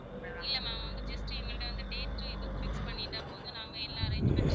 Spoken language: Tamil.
இல்ல ma'am அவங்க just எங்கள்ட்ட வந்து dates உம் இதுவும் fix பண்ணிட்டா போதும் நாங்க எல்லா arrangement